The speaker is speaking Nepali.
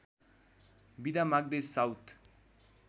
बिदा माग्दै साउथ